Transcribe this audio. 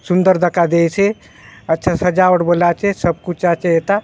अच्छा सुंदर दखा देयसे अच्छा सजावट बले आचे सब कुछ आचे एता --